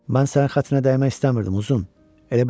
Mən sənin xətrinə dəymək istəmirdim, uzun.